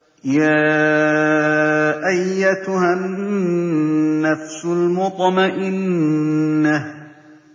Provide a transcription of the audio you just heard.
يَا أَيَّتُهَا النَّفْسُ الْمُطْمَئِنَّةُ